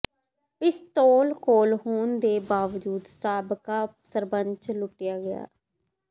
ਪਿਸਤੌਲ ਕੋਲ ਹੋਣ ਦੇ ਬਾਵਜੂਦ ਸਾਬਕਾ ਸਰਪੰਚ ਲੁੱਟਿਆ ਗਿਆ